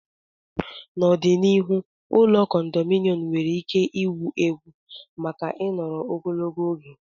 N'ọdịnihu, ụlọ kondominọm nwere ike ịwụ ewu maka ịnọru ogologo oge.